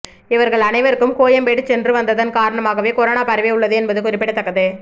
இவர்கள் அனைவருக்கும் கோயம்பேடு சென்று வந்ததன் காரணமாகவே கொரோனா பரவி உள்ளது என்பது குறிப்பிடத்தக்கது